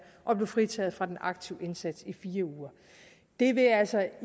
at blive fritaget fra den aktive indsats i fire uger det vil altså